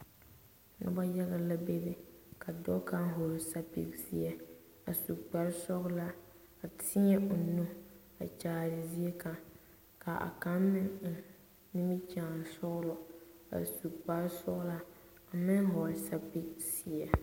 Noba yaga la bebe ka dɔɔ kaŋa vɔgle sapilzeɛ a su kpare sɔglaa a teɛ o nu kyaare zie kaŋa ka a kaŋa meŋ eŋ nimikyaani sɔgla a su kpare sɔgla a meŋ vɔgle sapilzeɛ.